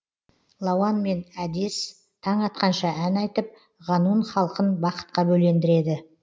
лауанмен әдес таң атқанша ән айтып ғанун халқын бақытқа бөлендіреді